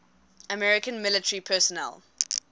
american military personnel